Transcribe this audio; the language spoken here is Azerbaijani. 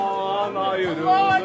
Aman ayrılıq.